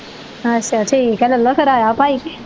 ਅੱਛਾ ਠੀਕ ਆ ਲੈਲਾ ਫਿਰ ਆਇਆ ਭਾਈ ਤੇ।